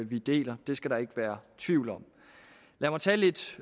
vi deler det skal der ikke være tvivl om lad mig tage lidt